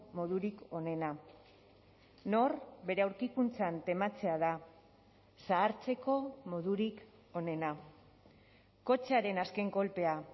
modurik onena nor bere aurkikuntzan tematzea da zahartzeko modurik onena kotxearen azken kolpea